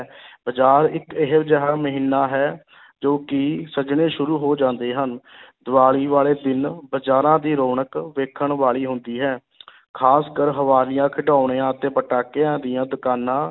ਬਜ਼ਾਰ ਇੱਕ ਇਹੋ ਜਿਹਾ ਮਹੀਨਾ ਹੈ ਜੋ ਕਿ ਸਜਣੇ ਸ਼ੁਰੂ ਹੋ ਜਾਂਦੇ ਹਨ ਦੀਵਾਲੀ ਵਾਲੇ ਦਿਨ ਬਜ਼ਾਰਾਂ ਦੀ ਰੌਣਕ ਵੇਖਣ ਵਾਲੀ ਹੁੰਦੀ ਹੈ ਖ਼ਾਸ ਕਰ ਹਵਾਲੀਆ, ਖਿਡੌਣਿਆਂ ਅਤੇ ਪਟਾਕਿਆਂ ਦੀਆਂ ਦੁਕਾਨਾਂ